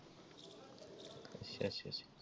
ਅੱਛਾ ਅੱਛਾ ।